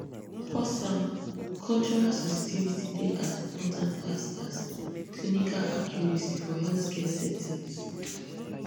pause um cultural sensitivity dey as important as as clinical accuracy for healthcare settings